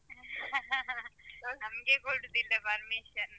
ನಮ್ಗೆ ಕೊಡೂದಿಲ್ಲ permission .